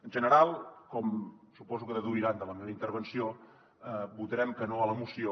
en general com suposo que deuran deduir de la meva intervenció votarem que no a la moció